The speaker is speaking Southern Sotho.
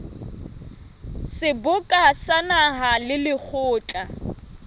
seboka sa naha le lekgotla